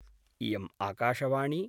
इयम् आकाशवाणी